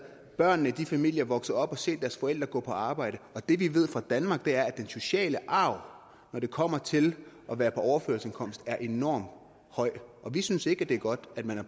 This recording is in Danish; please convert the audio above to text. børnene i de familier vokset op og havde set deres forældre gå på arbejde det vi ved fra danmark er at den sociale arv når det kommer til at være på overførselsindkomst er enormt høj vi synes ikke det er godt at man er